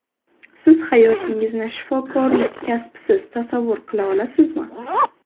Siz hayotingizni shifokorlik kasbisiz tasavvur qila olasizmi?